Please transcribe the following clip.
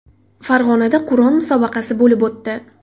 Farg‘onada Qur’on musobaqasi bo‘lib o‘tdi.